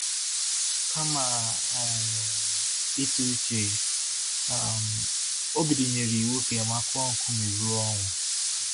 Kama um ịtụ uche, um Obidi nyere iwu ka Emma kụọ nkume ruo ọnwụ.